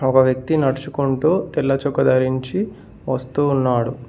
ఒక వ్యక్తి నడుచుకుంటూ తెల్ల చొక్కా ధరించి వస్తున్నాడు.